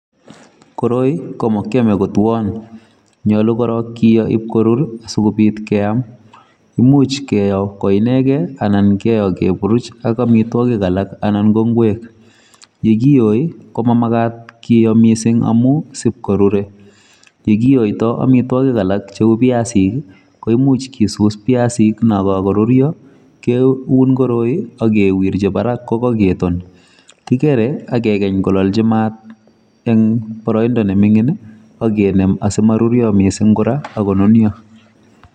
Koroi ko makiame kotuon, nyolu korok kiyoi ipkorur sikobiit keam imuch keyo ko inegei anan keyo keburuch ak amitwogik alak anan ko ngwek. ye kiyoi, ko mamagaat kiyo miising' amu sipkorure yekiyoiyoi amitwogik alak cheuu viasik koimuch kisus viasik na kakoruryo, keuun koroi akewirchi barak kokaketon kikere akeany kolalchi maat eng' boroindo nemining' akenem asimaruryo miising' kora akonunio